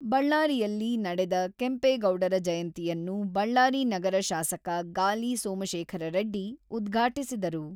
ಬಳ್ಳಾರಿಯಲ್ಲಿ ನಡೆದ ಕೆಂಪೇಗೌಡರ ಜಯಂತಿಯನ್ನು ಬಳ್ಳಾರಿ ನಗರ ಶಾಸಕ ಗಾಲಿ ಸೋಮಶೇಖರ ರೆಡ್ಡಿ ಉದ್ಘಾಟಿಸಿದರು.